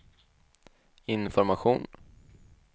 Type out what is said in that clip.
information